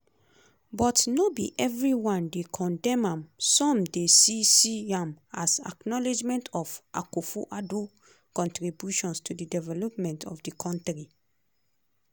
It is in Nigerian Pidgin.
but no be evri one dey condemn am some dey see see am as acknowledgement of akufo-addo contributions to di development of di kontri.